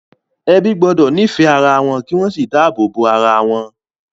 Ebi gbọ́dọ̀ nífẹ̀ẹ́ ara wọn kí wọ́n sì dáàbò bo ara wọn.